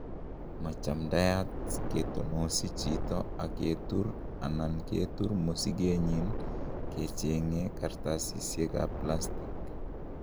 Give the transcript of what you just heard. Machamdiat kitonosi chito ak ketur anan ketur mosige nyin kechenge Kartasisiek ab palstig.